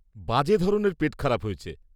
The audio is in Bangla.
-বাজে ধরনের পেট খারাপ হয়েছে।